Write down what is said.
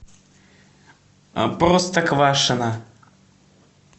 а простоквашино